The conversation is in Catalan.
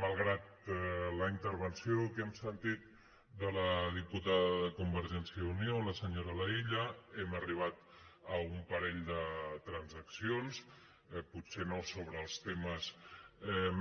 malgrat la intervenció que hem sentit de la diputada de convergència i unió la senyora laïlla hem arribat a un parell de transaccions potser no sobre els temes